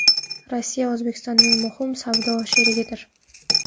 Rossiya O‘zbekistonning muhim savdo sherigidir.